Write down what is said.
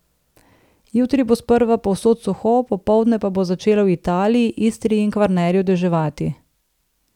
Jutri bo sprva povsod suho, popoldne pa bo začelo v Italiji, Istri in Kvarnerju deževati.